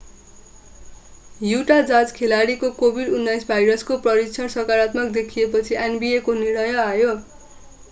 युटा Jazz खेलाडीको covid-19 भाइरसको परीक्षण सकारात्मक देखिएपछि nba को निर्णय आयो